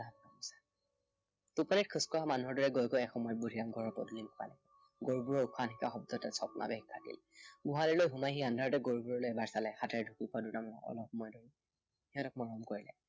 টোপনিত খোজ কঢ়া মানুহৰ দৰে বুদ্ধিৰাম এসময়ত ঘৰৰ পদুলিমুখ পালেগৈ। গৰুবোৰৰ উশাহ নিশাহৰ শব্দতহে তাৰ ছদ্মাৱেশ ভাগিল। গোহালিলৈ সোমাই সি আন্ধাৰতে গৰুবোৰলৈ এবাৰ চালে। হাতেৰে ঢুকি পোৱা দুটামানত অলপ সময় ৰল। সিহঁতক মৰম কৰিলে।